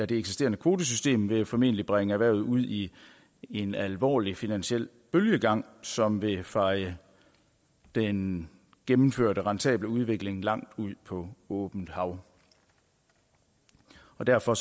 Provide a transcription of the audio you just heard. det eksisterende kvotesystem vil formentlig bringe erhvervet ud i en alvorlig finansiel bølgegang som vil feje den gennemførte rentable udvikling langt ud på åbent hav og derfor